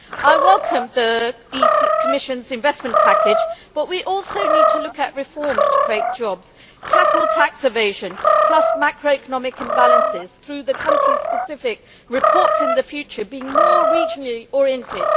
I welcome the Commission's investment package but we also need to look at reforms to create jobs and tackle tax evasion, plus macroeconomic imbalances, through the country specific reports in the future being more regionally oriented.